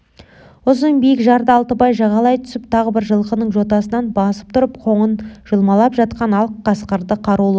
ұзын биік жарды алтыбай жағалай түсіп тағы бір жылқының жотасынан басып тұрып қоңын жұлмалап жатқан ақ қасқырды қарулы